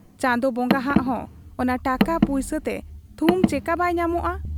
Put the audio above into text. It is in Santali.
ᱪᱟᱸᱫᱚ ᱵᱚᱸᱜᱟᱦᱟᱜ ᱦᱚᱸ ᱚᱱᱟ ᱴᱟᱠᱟ ᱯᱩᱭᱥᱟᱹᱛᱮ ᱛᱷᱩᱢ ᱪᱮᱠᱟ ᱵᱟᱭ ᱧᱟᱢᱚᱜ ᱟ ?